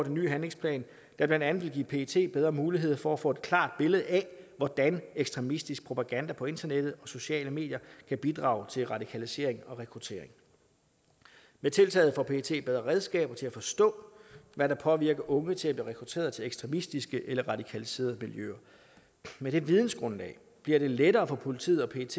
en ny handlingsplan der blandt andet vil give pet bedre mulighed for at få et klart billede af hvordan ekstremistisk propaganda på internettet og sociale medier kan bidrage til radikalisering og rekruttering med tiltaget får pet bedre redskaber til at forstå hvad der påvirker unge til at blive rekrutteret til ekstremistiske eller radikaliserede miljøer med det vidensgrundlag bliver det lettere for politiet og pet